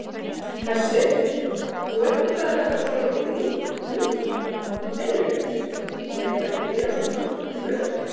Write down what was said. Hersir: Nú er þetta svolítið víðtækt hugtak, leiðrétting, eruð þið að gera svona miklar kröfur?